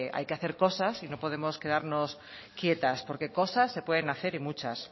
hay que hacer cosas y no podemos quedarnos quietas porque cosas se pueden hacer y muchas